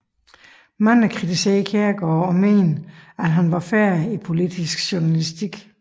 Mange kritiserede Kjærgaard og mente han var færdig i politisk journalistik